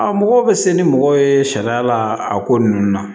A mɔgɔw bɛ se ni mɔgɔ ye sariya la a ko ninnu na